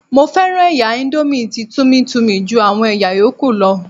Mo fẹ́ràn ẹ̀yà índómì tí Tummy Tummy ju àwọn ẹ̀yà yóókù lọ